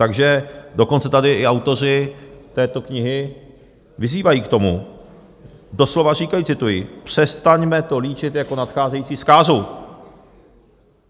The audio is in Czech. Takže dokonce tady i autoři této knihy vyzývají k tomu, doslova říkají - cituji: "Přestaňme to líčit jako nadcházející zkázu."